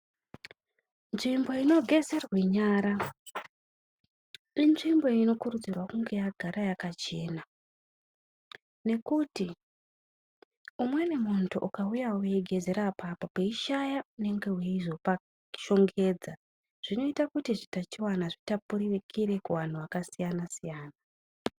Nzvimbo inogezerwe nyara , inzvimbo inokurudzirwa kunge yagara yakachena ngekuti umweni muntu ukauyawo weigezera apapo peishaya unenge eizopashongedza zvinoita kuti zvitachiwana zvitapurikire kuvanhu vakasiyana siyana.